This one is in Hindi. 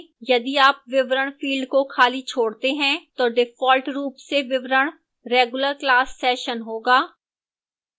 यदि आप विवरण field को खाली छोड़ते हैं तो default रूप से विवरण regular class session होगा